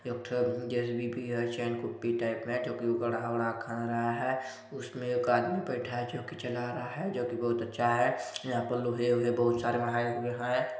एकठन जेसीबी भी है चैन कुप्पी टाईप मे खड़हा उदहा कहा रहा हैं उसमे एक आदमी बैठा हैं जो की चला रहा हैं जो की बहुत अच्छा हैं यहाँ पर लोहे उहए बहुत सारा मढ़ाये हुए हैं।